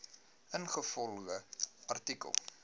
ingevolge artikel